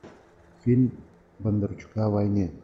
фильм бондарчука о войне